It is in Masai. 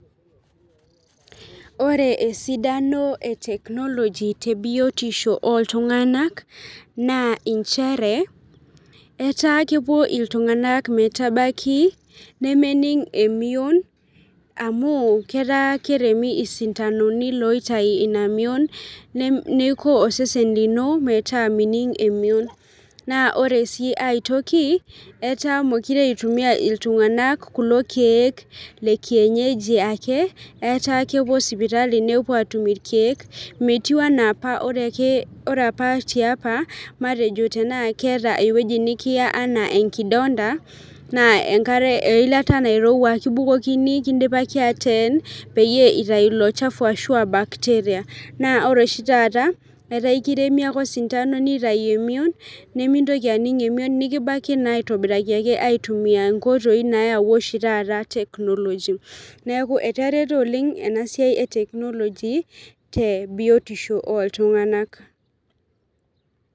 ore esidano e technology te biotisho oltung'anak naa inchere etaa kepuo iltung'anak metabaki nemening emion amu ketaa keremi isintanoni loitai ina mion ne neiko osesen lino metaa mining emion naa ore sii ae toki etaa mokire eitumia iltung'anak kulo kiek le kienyeji ake etaa kepuo sipitali nepuo atum irkeek metiu enaa apa ore ake, ore ake ore apa tiapa matejo tenaa keeta ewueji nikiya anaa enkidonda naa enkare eilata nairowua kibukokini kindipaki ateen peyie itai ilo chafu ashu bacteria naa ore oshi taata etaa ekiremi ake osintano nitayu emion nimintoki aning emion nikibaki naa aitobiraki ake aitumia inkoitoi nayawua oshi taata technology neeku etareto oleng ena siai e technology tebiotisho oltung'anak.